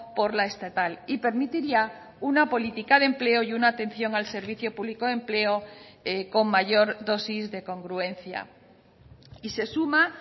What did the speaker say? por la estatal y permitiría una política de empleo y una atención al servicio público de empleo con mayor dosis de congruencia y se suma